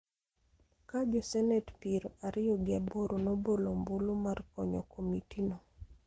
ka josenet piero ariyo gi aboro nobolo ombulu mar konyo komitino,